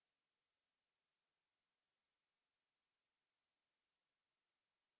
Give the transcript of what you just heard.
यह वह जगह है जहां आपको अपनी library के बारे में जानकारी देना है